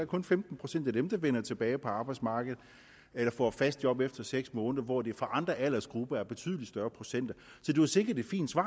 kun femten procent af dem der vender tilbage på arbejdsmarkedet eller får fast job efter seks måneder hvor det for andre aldersgrupper er en betydelig større procent så det var sikkert et fint svar